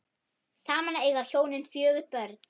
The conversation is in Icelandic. Saman eiga hjónin fjögur börn.